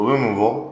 U bɛ mun fɔ